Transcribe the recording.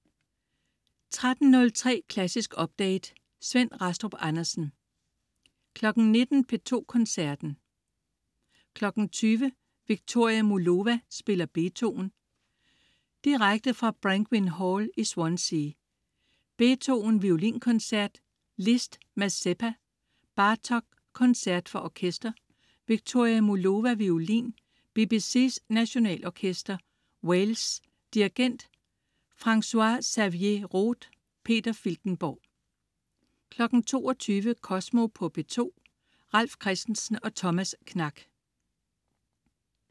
13.03 Klassisk update. Svend Rastrup Andersen 19.00 P2 Koncerten. 20.00: Viktoria Mullova spiller Beethoven. Direkte fra Brangwyn Hall i Swansea. Beethoven: Violinkoncert. Liszt: Mazeppa. Bartók: Koncert for orkester. Viktoria Mullova, violin. BBCs Nationalorkester, Wales. Dirigent: Francois-Xavier Roth. Peter Filtenborg 22.00 Kosmo på P2. Ralf Christensen og Thomas Knak